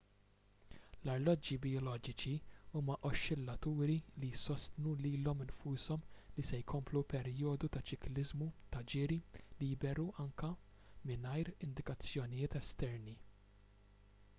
l-arloġġi bijoloġiċi huma oxxillaturi li jsostnu lilhom infushom li se jkomplu perjodu ta' ċikliżmu ta' ġiri liberu anke mingħajr indikazzjonijiet esterni